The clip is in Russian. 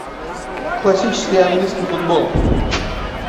классический английский футбол